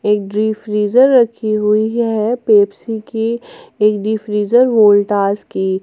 एक deep freezer रखी हुई है पेप्सी की एक डीप फ्रीजर वोल्टास की --